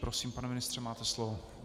Prosím, pane ministře, máte slovo.